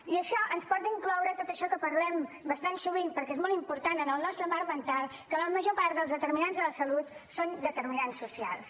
i això ens porta a incloure tot això que parlem bastant sovint perquè és molt important en el nostre marc mental que la major part dels determinants de la salut són determinants socials